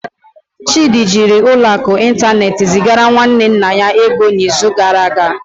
Chidi jiri ụlọ akụ ịntanetị zigara nwanne nna ya ego n'izu gara aga.